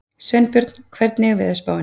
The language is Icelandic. Sveinbjörn, hvernig er veðurspáin?